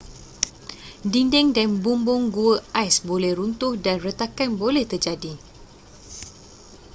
dinding dan bumbung gua ais boleh runtuh dan retakan boleh terjadi